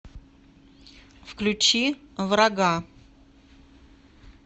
включи врага